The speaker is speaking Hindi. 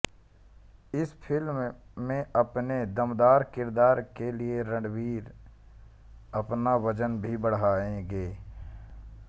इस फिल्म में अपने दमदार किरदार के लिए रणवीर अपना वजन भी बढ़ाएँगे